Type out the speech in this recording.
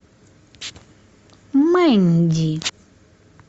мэнди